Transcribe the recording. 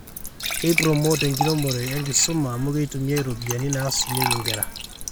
keipromote enkiremore enkisuma amu ketumieki ropiyani naisumieki nkera